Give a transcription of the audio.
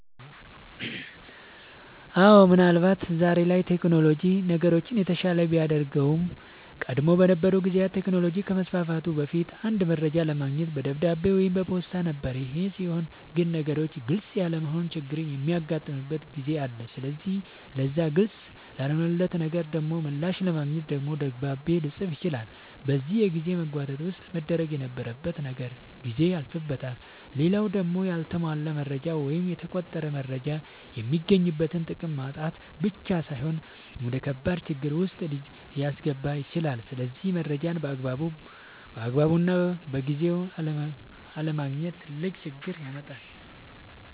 አወ ምን አልባት ዛሬ ላይ ቴክኖሎጅ ነገሮችን የተሻለ ቢያደርጋቸውም ቀደም በነበሩ ጊዜያት ቴክኖሎጅ ከመስፋፋቱ በፊት አንድ መረጃ ለማግኘት በደብዳቤ ወይም በፖስታ ነበር ይሄ ሲሆን ግን ነገሮች ግልፅ ያለመሆን ችግርም የሚያጋጥምበት ጊዜ አለ ስለዚህ ለዛ ግልፅ ላልሆነለት ነገር ደሞ ምላሽ ለማግኘት ደግሞ ደብዳቤ ልፅፍ ይችላል በዚህ የጊዜ መጓተት ውስጥ መደረግ የነበረበት ነገር ጊዜው ያልፍበታል። ሌላው ደሞ ያልተሟላ መረጃ ወይም የተቆረጠ መረጃ የሚገኝበትን ጥቅም ማጣት ብቻ ሳይሆን ወደከባድ ችግር ዉስጥ ሊያስገባ ይችላል ስለዚህ መረጃን ባግባቡና በጊዜው አለማግኘት ትልቅ ችግር ያመጣል